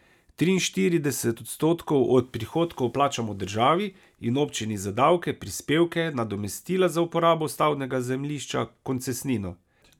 Triinštirideset odstotkov od prihodkov plačamo državi in občini za davke, prispevke, nadomestila za uporabo stavbnega zemljišča, koncesnino ...